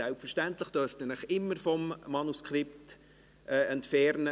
Selbstverständlich dürfen Sie sich immer vom Manuskript entfernen;